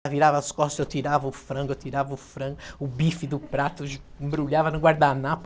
Ela virava as costas, eu tirava o frango, eu tirava o frango, o bife do prato, embrulhava no guardanapo.